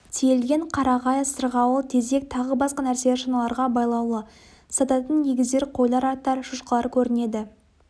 тиелген қарағай сырғауыл тезек тағы басқа нәрселер шаналарға байлаулы сататын өгіздер қойлар аттар шошқалар көрінеді